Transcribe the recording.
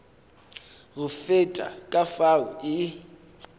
go feta ka fao e